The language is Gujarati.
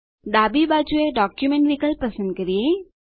ડાબી બાજુએ ડોક્યુમેન્ટ વિકલ્પ પસંદ કરીએ